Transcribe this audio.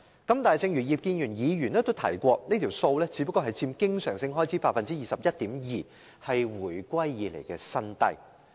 但是，正如葉建源議員剛才所說，這數字只佔經常開支 21.2%， 是自回歸以來的新低。